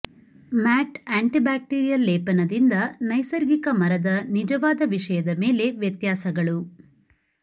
mat antibacterial ಲೇಪನದಿಂದ ನೈಸರ್ಗಿಕ ಮರದ ನಿಜವಾದ ವಿಷಯದ ಮೇಲೆ ವ್ಯತ್ಯಾಸಗಳು